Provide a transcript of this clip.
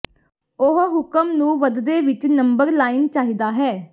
ਉਹ ਹੁਕਮ ਨੂੰ ਵੱਧਦੇ ਵਿਚ ਨੰਬਰ ਲਾਈਨ ਚਾਹੀਦਾ ਹੈ